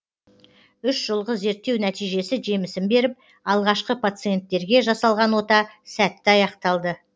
үш жылғы зерттеу нәтижесі жемісін беріп алғашқы пациентерге жасалған ота сәтті аяқталды